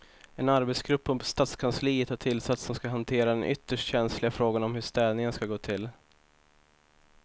En arbetsgrupp på stadskansliet har tillsatts som ska hantera den ytterst känsliga frågan om hur städningen ska gå till.